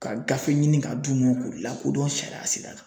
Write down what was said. Ka gafe ɲini ka d'u ma k'u lakodɔn sariya sira kan.